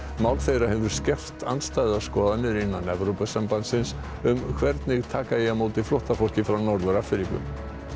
mál þeirra hefur skerpt andstæðar skoðanir innan Evrópusambandsins um hvernig taka eigi á móti flóttafólki frá Norður Afríku